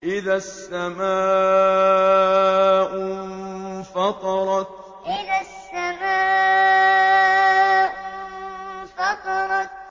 إِذَا السَّمَاءُ انفَطَرَتْ إِذَا السَّمَاءُ انفَطَرَتْ